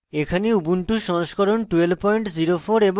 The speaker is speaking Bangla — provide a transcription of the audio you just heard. এখানে ubuntu সংস্করণ 1204 এবং